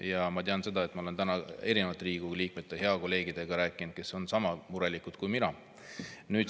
Ja ma tean seda, ma olen täna rääkinud erinevate Riigikogu liikmete, heade kolleegidega, kes on sama murelikud kui mina.